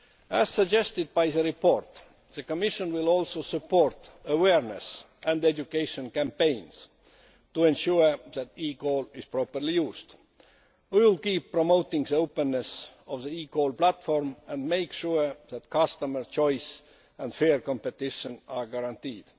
As suggested by the report, the Commission will also support awareness and education campaigns to ensure that eCall is properly used. We will keep promoting the openness of the eCall platform and make sure that customer choice and fair competition are guaranteed.